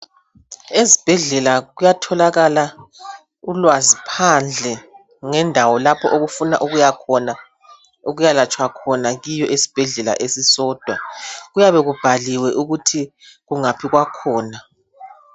Ezibhedlela kuyatholakala ulwazi phandle ,ngendawo lapho obufuna ukuyakhona .Ukuyalatshwa khona kiyo esibhedlela esisodwa ,kuyabe kubhaliwe ukuthi kungaphi kwakhona.